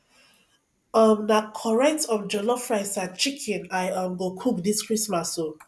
um na correct um jollof rice and chicken i um go cook dis christmas o